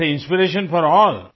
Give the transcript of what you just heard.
and he is inspiration for all